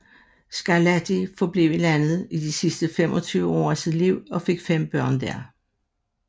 Scarlatti forblev i landet i de sidste 25 år af sit liv og fik fem børn der